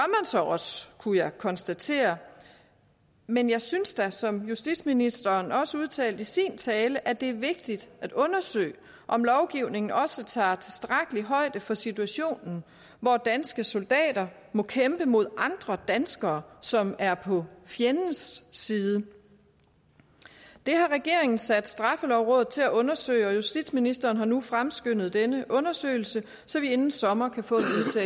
så også kunne jeg konstatere men jeg synes da som justitsministeren også udtalte i sin tale at det er vigtigt at undersøge om lovgivningen også tager tilstrækkeligt højde for situationen hvor danske soldater må kæmpe mod andre danskere som er på fjendens side det har regeringen sat straffelovrådet til at undersøge og justitsministeren har nu fremskyndet denne undersøgelse så vi inden sommer kan få